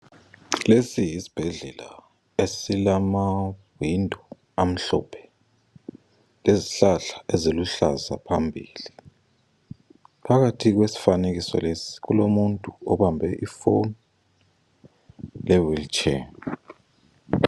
Lesi yisibhedlela esilamawindi amhlophe lezihlahla eziluhlaza phambili. Phakathi kwesifanekiso lesi kulomuntu obambe ifoni lewilitshe.